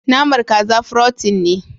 Naman kaza " frotein ne.